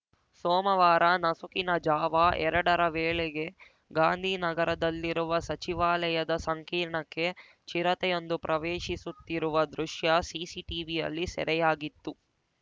ಸೋಮವಾರ ನಸುಕಿನ ಜಾವ ಎರಡರ ವೇಳೆಗೆ ಗಾಂಧಿನಗರದಲ್ಲಿರುವ ಸಚಿವಾಲಯದ ಸಂಕೀರ್ಣಕ್ಕೆ ಚಿರತೆಯೊಂದು ಪ್ರವೇಶಿಸುತ್ತಿರುವ ದೃಶ್ಯ ಸಿಸಿಟೀವಿಯಲ್ಲಿ ಸೆರೆಯಾಗಿತ್ತು